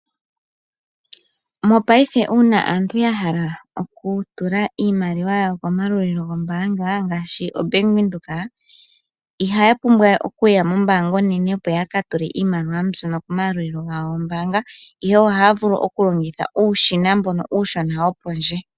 Mopaife uuna aantu ya hala okutula iimaliwa yawo komayalulilo gombaanga ngaashi ombaanga yaVenduka, ihaya pumbwa we okuya mombaanga onene opo ya ka tule iimaliwa mbyono komayalulilo gawo gombaanga. Ihe ohaya vulu okulongitha uushina mbono uushona wo pondje.